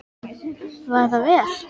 Var það vel.